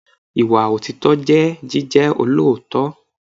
Ìwà òtítọ́ jẹ́ jíjẹ́ olóòótọ́.